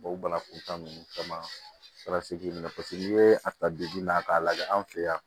o banakuntaa ninnu caman paseke n'i ye a ta na k'a lajɛ an fɛ yan